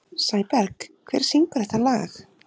Sæberg, hver syngur þetta lag?